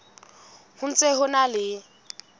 ho ntse ho na le